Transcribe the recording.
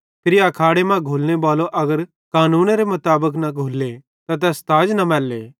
फिरी आखाड़े मां घुल्लने बालो अगर कानूनेरे मुताबिक न घुल्ले त तैस ताज न मैल्ले